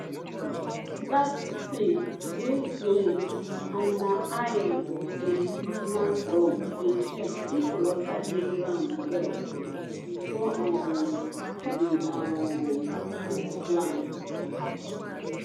that thing wey slim and na iron we dey use na so we dey check if water dey ground well before um we um fit plant